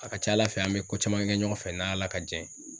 A ka ca ala fɛ an be ko caman kɛ ɲɔgɔn fɛ n' ala ka jɛn ye